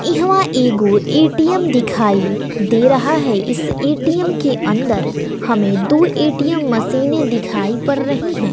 इहवां एगो ए_टी_एम दिखाई दे रहा है इस ए_टी_एम के अंदर हमें दु ए_टी_एम मशीनें दिखाई पड़ रही हैं।